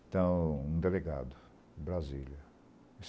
Então, um delegado, de Brasília.